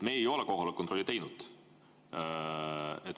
Me ei ole kohaloleku kontrolli teinud.